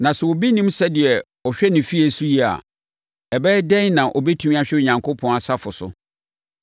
Na sɛ obi nnim sɛdeɛ ɔhwɛ ne fie so yie a, ɛbɛyɛ dɛn na ɔbɛtumi ahwɛ Onyankopɔn asafo so?